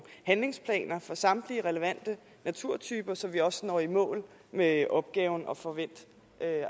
handlingsplaner for samtlige relevante naturtyper så vi også når i mål med opgaven at få vendt